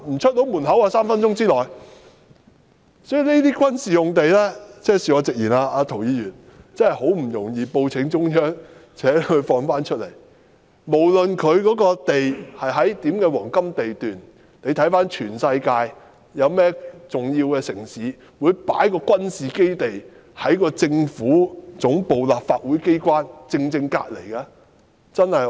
所以，涂議員，恕我直言，這些軍事用地真的難以報請中央釋放出來，無論這些用地是否在黃金地段，而環顧全世界，有哪個重要的城市會把軍事基地正正放在政府總部和立法機關的旁邊呢？